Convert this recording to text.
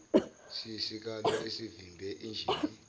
siyisikalo esivimbela injini